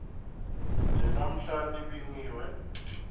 nje namhla nibingiwe